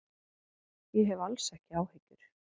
Ég hef alls ekki áhyggjur.